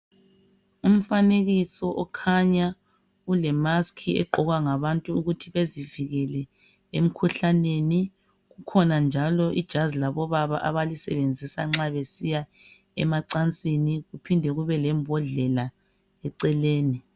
Umfanekiso ukhanya ule mask egqokwa ngabantu ukuthi bezivikele emkhuhlaneni kukhona njalo ijazi labobaba abalisebenzisa nxa besiya emacansini kuphinde kube lembodlela eceleni